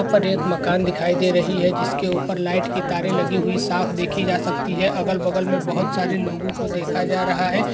यहाँ पर एक मकान दिखाई दे रही है जिसके ऊपर लाइट की तारे लगी हुई साफ देखी जा सकती है अगल बगल में बहुत सारे लोगों को देखा जा रहा है।